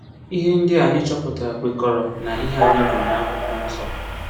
Ihe ndị a anyị chọpụtara kwekọrọ na ihe anyị gụrụ n’Akwụkwọ Nsọ.